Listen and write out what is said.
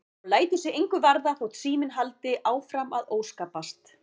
Og lætur sig engu varða þótt síminn haldi áfram að óskapast.